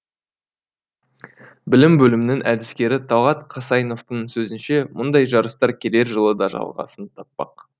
білім бөлімінің әдіскері талғат қасайновтың сөзінше мұндай жарыстар келер жылы да жалғасын таппақ